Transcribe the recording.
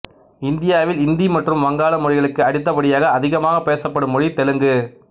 இந்தியாவில் இந்தி மற்றும் வங்காளம் மொழிகளுக்கு அடுத்தபடியாக அதிகமாகப் பேசப்படும் மொழி தெலுங்கு